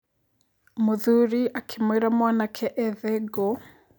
Mũthuri akĩmwĩra mwanake ethe ngũ.